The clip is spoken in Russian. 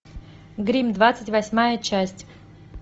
гримм двадцать восьмая часть